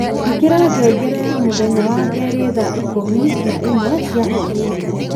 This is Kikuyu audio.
ĩkĩra ngengere ya mũthenya wa kerĩ thaa ikũmi na ĩmwe cia hwaini